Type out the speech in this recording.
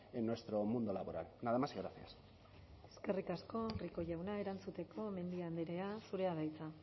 en nuestro mundo laboral nada más y gracias eskerrik asko rico jauna erantzuteko mendia andrea zurea da hitza